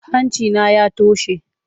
Hanci na ya toshe.